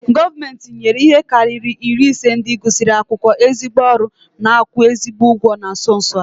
Gọọmenti nyere ihe karịrị iri ise ndị gụsịrị akwụkwọ ezigbo ọrụ n'akwu ezigbi ụgwọ na nso nso a